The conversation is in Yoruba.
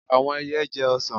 Àwọn ẹyẹ jẹ ọsàn.